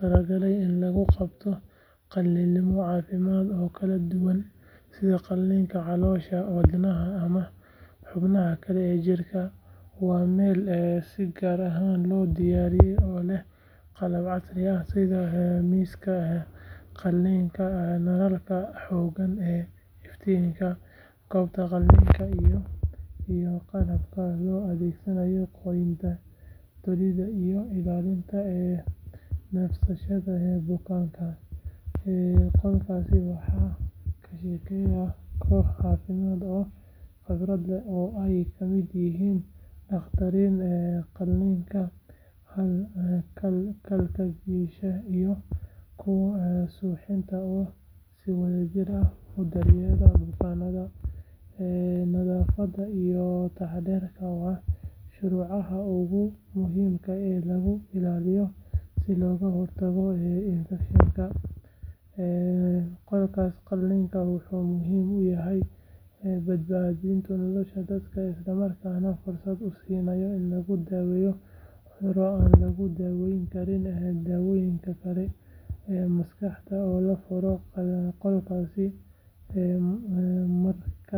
talagalay in lagu qabto qalliinno caafimaad oo kala duwan sida qalliinka caloosha, wadnaha ama xubnaha kale ee jirka. Waa meel si gaar ah loo diyaariyay oo leh qalab casri ah sida miiska qalliinka, nalalka xooggan ee iftiimiya goobta qalliinka, iyo qalabka loo adeegsado goynta, tolidda iyo ilaalinta neefsashada bukaanka. Qolkaas waxaa ka shaqeeya koox caafimaad oo khibrad leh oo ay ka mid yihiin dhakhaatiirta qalliinka, kalkaaliyeyaasha iyo kuwa suuxinta oo si wadajir ah u daryeela bukaanka. Nadaafadda iyo taxaddarku waa shuruudaha ugu muhiimsan ee lagu ilaaliyo si looga hortago infekshan. Qolka qalliinka wuxuu muhiim u yahay badbaadinta nolosha dadka isla markaana fursad u siinaya in lagu daweeyo cudurro aan lagu daaweyn karin daawooyin keliya. Markasta oo la furo qolkaas waxaa laga dareemayaa heegan caafimaad iyo u diyaar garow buuxa oo lagu badbaadinayo bukaanka.